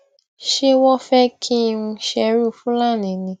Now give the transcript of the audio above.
ṣé wọn fẹ kí n ṣerú fúlàní ni